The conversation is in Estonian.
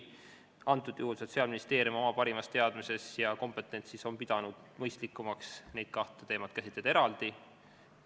Antud juhul on Sotsiaalministeerium oma parima teadmise ja kompetentsi alusel pidanud mõistlikumaks käsitleda neid kahte teemat eraldi.